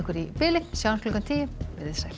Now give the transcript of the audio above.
í bili sjáumst klukkan tíu veriði sæl